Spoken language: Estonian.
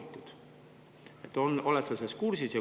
Oled sa sellega kursis?